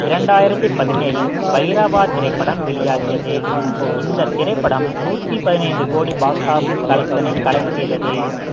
இரண்டாயிரத்தி பதினேழில் பைரவா திரைப்படம் வெளியாகியது இந்த திரைப்படம் நூத்தி பதினைந்து கோடி box office collection ஐ collect செய்தது